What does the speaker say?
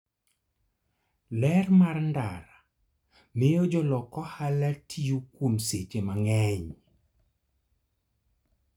Ler mar ndara miyo jolok ohala tiyo kuom seche mang'eny.